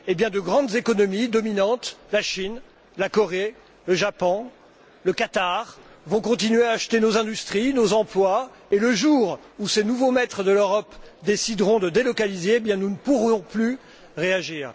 De grandes économies dominantes la Chine, la Corée, le Japon, le Qatar vont continuer à acheter nos industries, nos emplois puis, le jour où ces nouveaux maîtres de l'Europe décideront de délocaliser, nous ne pourrons plus réagir.